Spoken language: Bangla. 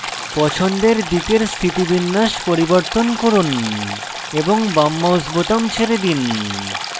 পছন্দের দিকের স্থিতিবিন্যাস পরিবর্তন করুন এবং বাম mouse বোতাম ছেড়ে দিন